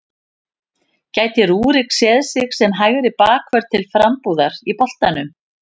Gæti Rúrik séð sig sem hægri bakvörð til frambúðar í boltanum?